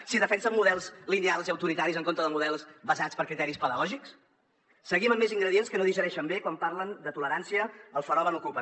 si defensen models lineals i autoritaris en contra de models basats en criteris pedagògics seguim amb més ingredients que no digereixen bé quan parlen de tolerància al fenomen ocupa